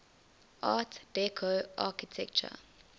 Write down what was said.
art deco architecture